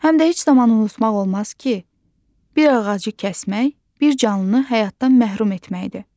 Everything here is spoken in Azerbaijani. Həm də heç zaman unutmaq olmaz ki, bir ağacı kəsmək bir canlını həyatdan məhrum etməkdir.